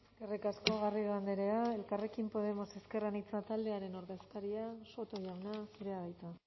eskerrik asko garrido andrea elkarrekin podemos ezker anitza taldearen ordezkaria soto jauna zurea da hitza